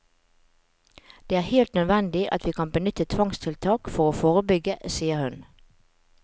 Det er helt nødvendig at vi kan benytte tvangstiltak for å forebygge, sier hun.